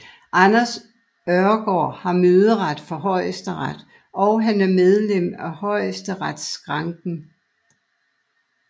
Anders Ørgaard har møderet for Højesteret og han er medlem af Højesteretsskranken